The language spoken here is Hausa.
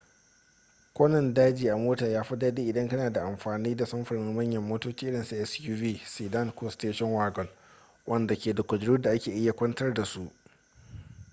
kwanan daji a mota ya fi dadi idan kana amfani da samfurin manyan motoci irinsu suv sedan ko station wagon wadanda ke da kujeru da ake iya kwantar da su